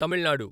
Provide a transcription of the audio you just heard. Tamil Nadu